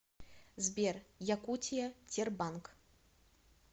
сбер якутия тербанк